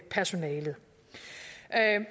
personalet